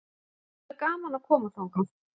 Það verður gaman að koma þangað.